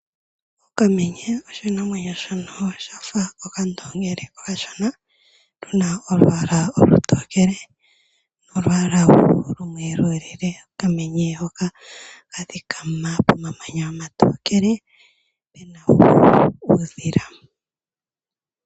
Okamenye oshinamwenyo shono shafa okandoongili okashona . Okena olwaala olutokele nolwaala oluyelele. Okamenye ohaka adhika pomamanya omatokele puna uudhila.